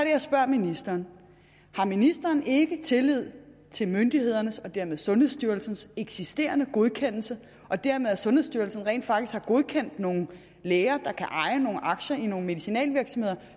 jeg spørger ministeren har ministeren ikke tillid til myndighedernes og dermed til sundhedsstyrelsens eksisterende godkendelser og dermed at sundhedsstyrelsen rent faktisk har godkendt at nogle læger kan eje nogle aktier i nogle medicinalvirksomheder